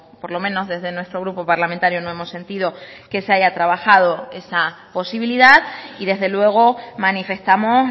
por lo menos desde nuestro grupo parlamentario no hemos sentido que se haya trabajado esa posibilidad y desde luego manifestamos